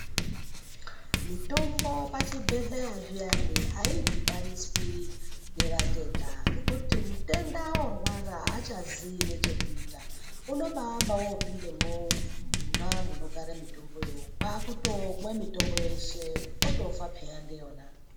Mitombo pazvibhedhleya zviyani ayidhibaniswi nevatenda ngekuti mutenda yoorwara achaziyi nechekuita unombaamba otopinda mwona munogara mitombo yona kwakutomwa mitombo yeshe otofa peya ndiyona.